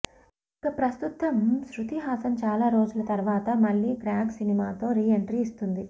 ఇక ప్రస్తుతం శ్రుతిహాసన్ చాలా రోజుల తర్వాత మళ్ళీ క్రాక్ సినిమాతో రీ ఎంట్రీ ఇస్తుంది